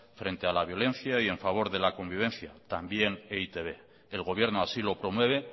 frente a la violencia y en favor de la convivencia también e i te be el gobierno así lo promueve